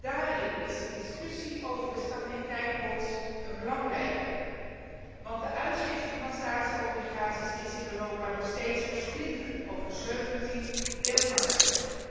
Daarin is de discussie over de stabiliteitsobligaties een belangrijke discussie, want de uitgifte van staatsobligaties is in Europa nog steeds versplinterd over 17 deelmarkten.